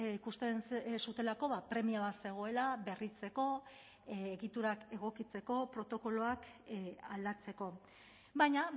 ikusten zutelako premia bat zegoela berritzeko egiturak egokitzeko protokoloak aldatzeko baina